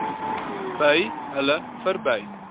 by hulle verby